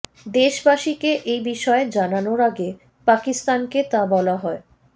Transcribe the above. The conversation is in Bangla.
দেশবাসীকে এই বিষয়ে জানানোর আগে পাকিস্তানকে তা বলা হয়